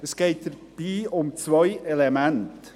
Es geht dabei um zwei Elemente.